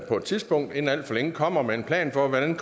på et tidspunkt inden alt for længe kommer med en plan for hvordan